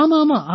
ஆமா ஆமா